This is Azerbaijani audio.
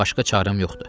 Başqa çarəm yoxdur.